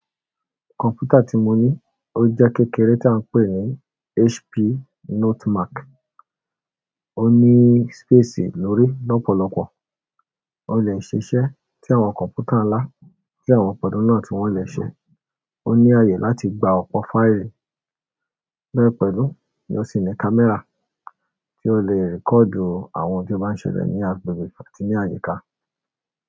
Kọ̀m̀pútà tí mo ní ó jẹ́ kékeré ta ń pè yín HP Notemark, ó ní space lórí lọ́pọ̀lọpọ̀, ó lè ṣiṣẹ́ tí àwọn kọ̀m̀pútà ńlá tí àwọn ọ̀pọ̀ náà tí wọ́n lè ṣe, ó ní ààyè láti gba ọ̀pọ̀ fáìlì bẹ́ẹ̀ pẹ̀lú ni ó sì ní kámẹ́rà tí ó lè record àwọn ohun tí ó bá ń ṣẹlẹ̀ ní agbègbè àti ní àyíká.